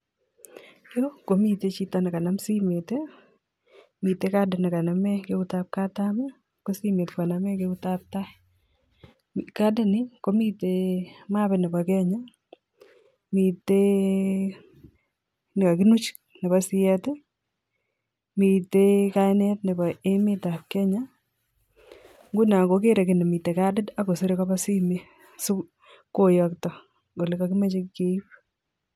Yu komiten chito nekama simet mite kadid nekanamekeut ap katam ko simet kaname keut ap tai kadit ni komitei mipit nepo Kenya mitei mnekakinuch nepo siet mitei kainet nepo emet ap Kenya nguno kogerei kiy nemi kadit akoserei kopa simet sikoyokto kopa ole kakimachei keip